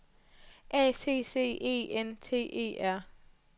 A C C E N T E R